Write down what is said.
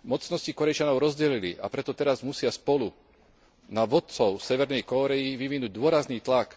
Mocnosti Kórejčanov rozdelili, a preto teraz musia spolu na vodcov severnej Kórey vyvinúť dôrazný tlak